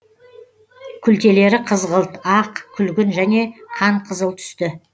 күлтелері қызғылт ақ күлгін және қанқызыл түсті